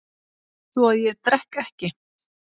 Svo að ég drekk ekki.